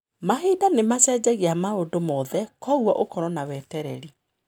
Mahinda nĩ macenjagia maũndũ mothe, kwoguo ũkorũo na wetereri.